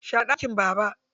Share ɗakin Baba.